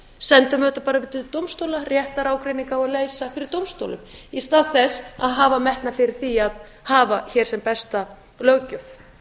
sendum þetta bara fyrir dómstóla réttarágreining á að leysa fyrir dómstólum í stað þess að hafa metnað fyrir því að hafa hér sem besta löggjöf